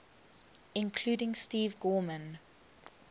including steve gorman